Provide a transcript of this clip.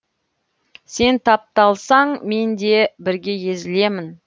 сен тапталсаң мен де бірге езілемін